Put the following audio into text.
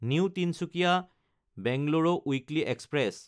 new তিনচুকীয়া–বেংগালোৰো weekly express